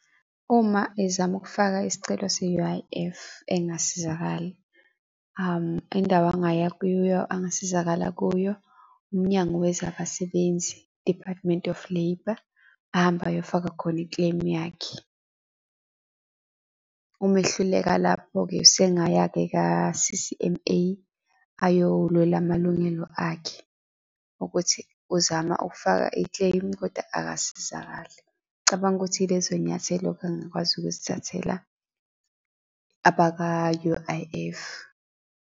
Uma ezama ukufaka isicelo se-U_I_F, engasizakali indawo angaya kuyo angasizakala kuyo, umnyango wezabasebenzi, Department of Labour, ahambe ayofaka khona i-claim yakhe. Wehluleka lapho-ke sengaya-ke ka-C_C_M_A, ayolwela amalungelo akhe, ukuthi uzama ukufaka i-claim, kodwa akasizakali. Cabanga ukuthi yilezo nyathelo-ke angakwazi ukuzithathela abaka-U_I_F.